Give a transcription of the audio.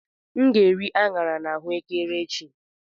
M ga-eri aṅara na ahuekere echi.